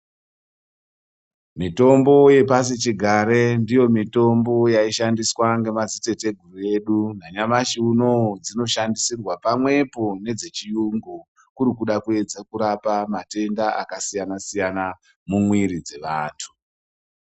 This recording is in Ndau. Mitombo ye pasi chigare ndiyo mitombo yai shandiswa nge madzi tete guru edu na nyamashi unowu dzino shandiswirwa pamwepo nedze chiyungu kuri kuda kuedza kurapa matenda aka siyana siyana mu mwiri dze vantu.